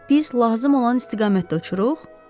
İndi biz lazım olan istiqamətdə uçuruq?